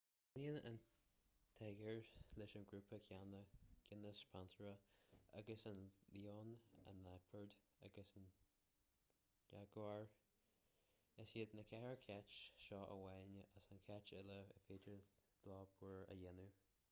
baineann an tíogar leis an ngrúpa céanna géineas panthera agus an leon an liopard agus an iaguar. is iad na ceithre chait seo amháin as na cait uile ar féidir leo búir a dhéanamh